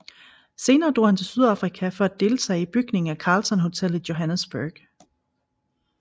Senere drog han til Sydafrika for at deltage i bygningen af Carlton hotel i Johannesburg